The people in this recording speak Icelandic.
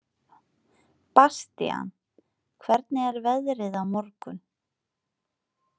Bastían, hvernig er veðrið á morgun?